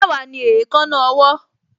Mẹ́wàá ni èékánná ọwọ́